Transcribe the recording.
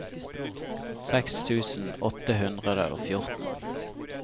seks tusen åtte hundre og fjorten